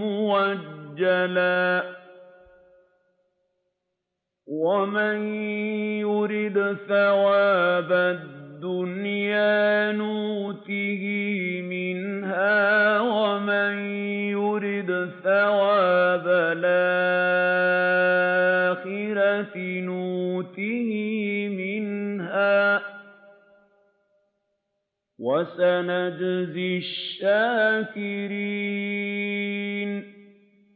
مُّؤَجَّلًا ۗ وَمَن يُرِدْ ثَوَابَ الدُّنْيَا نُؤْتِهِ مِنْهَا وَمَن يُرِدْ ثَوَابَ الْآخِرَةِ نُؤْتِهِ مِنْهَا ۚ وَسَنَجْزِي الشَّاكِرِينَ